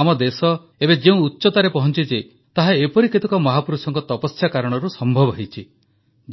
ଆମ ଦେଶ ଏବେ ଯେଉଁ ଉଚ୍ଚତାରେ ପହଂଚିଛି ତାହା ଏପରି କେତେକ ମହାପୁରୁଷଙ୍କ ତପସ୍ୟା କାରଣରୁ ସମ୍ଭବ ହୋଇଛି